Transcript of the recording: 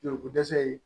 Joliko dɛsɛ ye